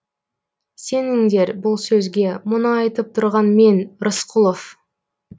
сеніңдер бұл сөзге мұны айтып тұрған мен рысқұлов